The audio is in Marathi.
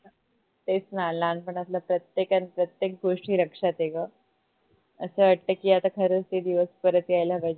तेच न लहानपणातल्या प्रत्येक अन प्रत्येक गोष्टी लक्षात आहे ग अस वाटत कि आता खरच ते दिवस परत यायला पाहिजे